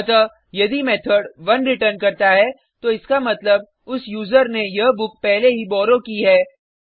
अतः यदि method 1 return करता है तो इसका मतलब उस यूज़र ने यह बुक पहले ही बॉरो की है